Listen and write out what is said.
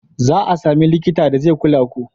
Za a sami likita da zai kula ku.